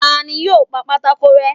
Tá ní yóò pa pàtàkó rẹ?